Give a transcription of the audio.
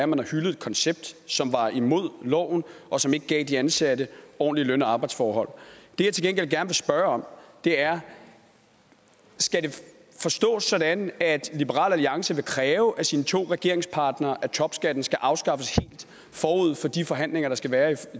man har hyldet et koncept som var imod loven og som ikke gav de ansatte ordentlige løn og arbejdsforhold det jeg til gengæld gerne vil spørge om er skal det forstås sådan at liberal alliance vil kræve af sine to regeringspartnere at topskatten helt skal afskaffes forud for de forhandlinger der skal være